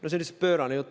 Pöörane jutt!